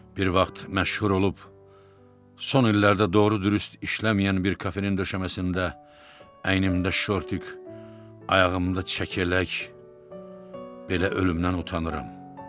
Bir vaxt məşhur olub son illərdə doğru-dürüst işləməyən bir kafenin döşəməsində, əynimdə şortik, ayağımda çəkələk, belə ölümdən utanıram.